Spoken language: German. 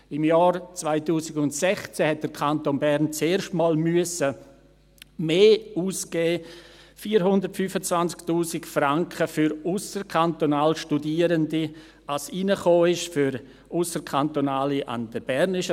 Im Jahr 2016 musste der Kanton Bern zum ersten Mal mehr ausgeben – 425 000 Franken für ausserkantonal Studierende –, als hereinkam für Ausserkantonale an der BFH.